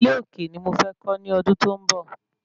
Ilé òkè ni mo fẹ́ kọ́ ní ọdún tó ń bọ̀